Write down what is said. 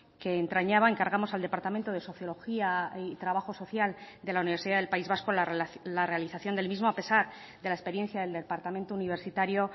que entrañaba encargamos al departamento de sociología y trabajo social de la universidad del país vasco la realización del mismo a pesar de la experiencia del departamento universitario